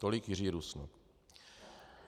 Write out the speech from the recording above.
Tolik Jiří Rusnok.